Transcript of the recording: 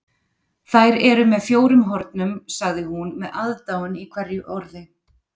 Þær eru með fjórum hornum, sagði hún með aðdáun í hverju orði.